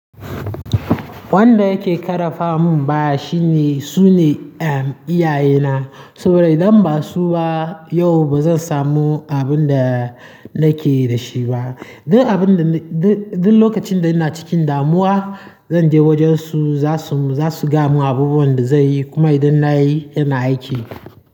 Wanda yake ƙara fam baya shine, su ne, um, iyaye na. Saboda idan ba su ba yau ba zan samu abin da nake da shi ba. Duk abin da ni-- duk, duk lokacin da ina cikin damuwa, zan je wajen su, za su, za su ga mu abubuwan da zai yi. Kuma idan na yi yana aiki.